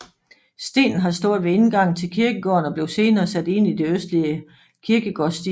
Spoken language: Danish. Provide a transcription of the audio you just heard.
Stenen har stået ved indgangen til kirkegården og blev senere sat ind i det østlige kirkegårdsdige